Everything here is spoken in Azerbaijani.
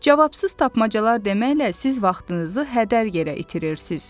Cavabsız tapmacalar deməklə siz vaxtınızı hədər yerə itirirsiz.